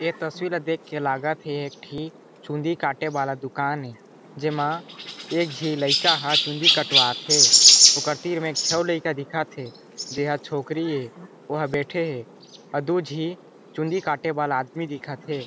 ये तस्वीर ला देख के लागत थे एक ठी चुंदी काटे वाला दुकान हे जेमा एक जे लेका ह चुंदी कटवाथे ओकर तीर मे एक छो अउ लड़का दिखत हे जे ह छोकरी हे वह बैठे हे अउ दो झी चुंदी काटे वाला आदमी दिखत हे।